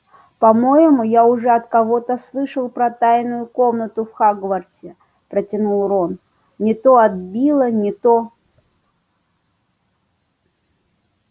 по-моему я уже от кого-то слышал про тайную комнату в хогвартсе протянул рон не то от билла не то